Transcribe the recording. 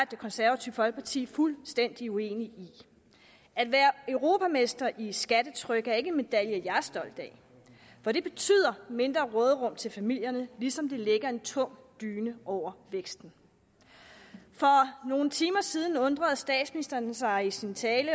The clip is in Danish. det konservative folkeparti fuldstændig uenige i at være europamester i skattetryk er ikke en medalje jeg er stolt af for det betyder mindre råderum til familierne ligesom det lægger en tung dyne over væksten for nogle timer siden undrede statsministeren sig i sin tale